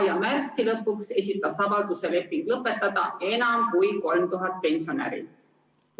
Ja märtsi lõpuks esitas avalduse lepingu lõpetamiseks enam kui 3000 pensionäri.